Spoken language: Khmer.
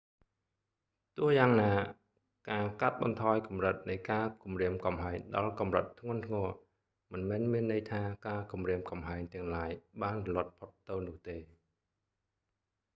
ទោះយ៉ាងណា ការកាត់បន្ថយកម្រិតនៃការគំរាមកំហែងដល់កម្រិតធ្ងន់ធ្ងរ មិនមែនមានន័យថា ការគម្រាមកំហែងទាំងឡាយបានរលត់ផុតទៅនោះទេ